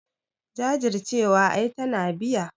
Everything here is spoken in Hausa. Jajircewa ai tana biya.